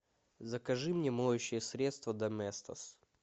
закажи мне моющее средство доместос